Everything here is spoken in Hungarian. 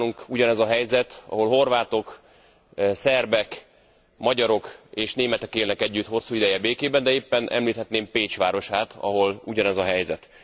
Nálunk ugyanez a helyzet, ahol horvátok, szerbek, magyarok és németek élnek együtt hosszú ideje békében, de éppen említhetném Pécs városát, ahol ugyanez a helyzet.